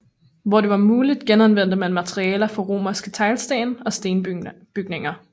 Hvor det var muligt genanvendte man materialer fra romerske teglsten og stenbygninger